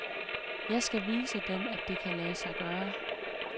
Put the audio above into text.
Jeg skal vise dem, at det kan lade sig gøre.